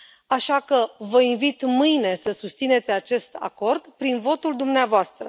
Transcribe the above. Așa că vă invit, mâine, să susțineți acest acord prin votul dumneavoastră.